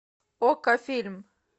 окко фильм